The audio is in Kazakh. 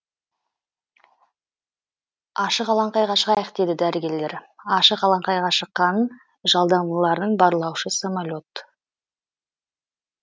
ашық алаңқайға шығайық дейді дәрігерлер ашық алаңқайға шыққанын жалдамалылардың барлаушы самолет